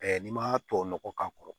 n'i m'a to nɔgɔ k'a kɔrɔ